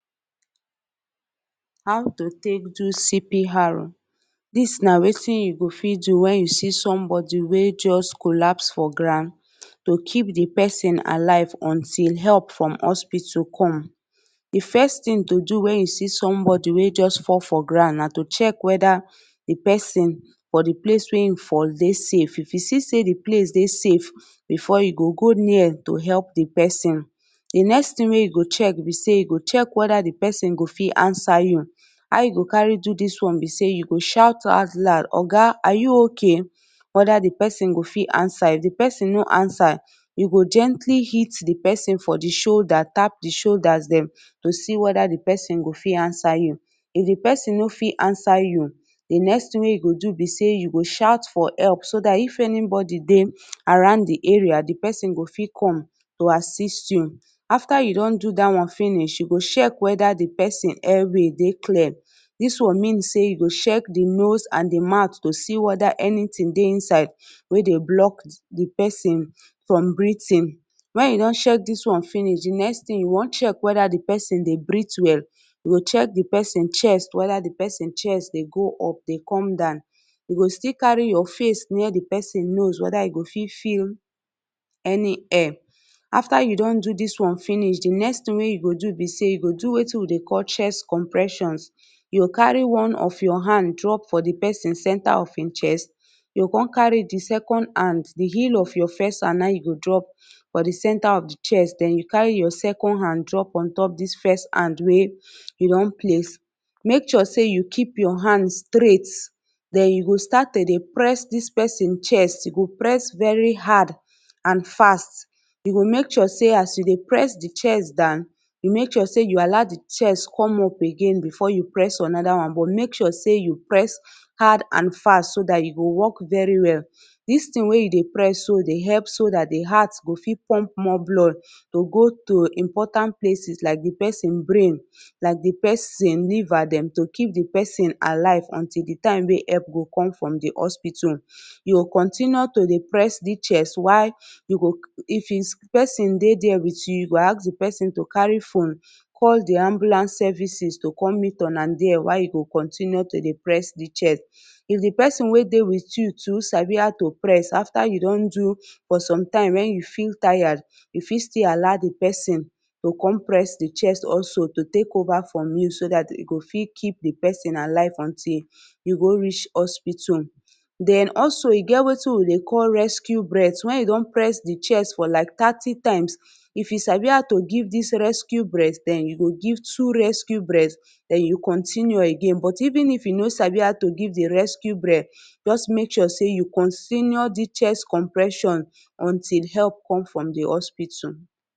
How to take do C.P.R dis na wetin you go fit when you see somebody wey just collapse for ground to keep di person alive until help from hospital come di first thing to do when you see somebody wey just fall for ground na to check whether di person for di place wey e fall dey safe, if you see say di place dey safe before you go go near to help di person. Di next thing wey you go check be sey you go check whether di person go fit answer you how you go carry do dis one be sey you go shout out loud, Oga are you okay? whether di person go fit answer if di person no answer you go gently hit di person for di shoulder tap di shoulders dem to see if di person go fit answer you if di person no fit answer you di next thing wey you go do be sey, you go shout for help do dat if anybody dey around di area di person go fit come to assist you after you don do dat one finish you go check whether di person air way dey clear, dis one mean sey you go check di nose and di mouth to see whether anything dey inside wey dey block di person from breathing when you don check dis one finish di next thing you won check whether di person dey breathe well you go check di person chest whether di person chest dey go up dey come down you go still carry your face near di person nose whether you go fit feel any air after you don do dis one finish di next thing wey you go do be sey you go do wetin we dey call chest compression you go carry one of your hand drop for di person center of e chest, you go come carry di second hand di heel of your first hand na e you go drop for di center of di chest den you carry your second hand drop ontop dis first hand wey you don place, make sure sey you keep your hand straight den you go start to dey press dis person chest you go press very hard and fast you go make sure sey as you dey press di chest down you make sure sey you allow di chest come up again before you press another one but make sure sey you press hard and fast so that e go work very well, dis thing wey you dey press so dey help so dat di heart go fit pump more blood to go to important places like di person brain, like di person liver dem to keep di person alive until di time wey help go come from di hospital you go continue to press di chest why you go if is person dey there with you you go ask di person to carry phone call di ambulance services to come meet una there why you go continue to press di chest, if di person wey dey with you too sabi how to press after you don do for sometime when you feel tired you fit still allow di person to come press di chest also to take over from you so that you go fit keep di person alive until you go reach hospital. Den also e get wetin we dey call Rescue Breath wen you don press di chest for like thirty times if you sabi how to give dis rescue breath den you go give two rescue breath den you continue again, even if you no sabi how to give di rescue breath just make sure sey you continue dis chest compression until help come from di hospital